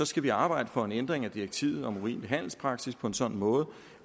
skal arbejde for en ændring af direktivet om urimelig handelspraksis på en sådan måde